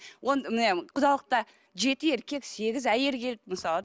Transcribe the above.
құдалықта жеті еркек сегіз әйел келіп мысалы